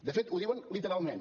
de fet ho diuen literalment